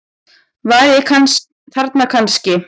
Var ég þarna kannski?